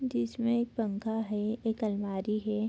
जिसमे एक पंखा है एक अलमारी है।